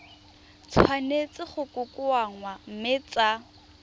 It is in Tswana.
tshwanetse go kokoanngwa mme tsa